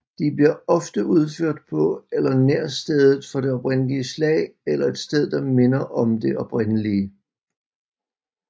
De bliver ofte udført på eller nær stedet for det oprindelige slag eller et sted der minder om det oprindelige